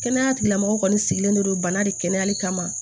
Kɛnɛya tigilamɔgɔ kɔni sigilen don bana de kɛnɛyali kama